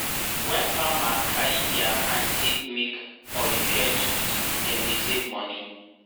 wen farmer carry diir hand take make or repair tools dem dey save moni.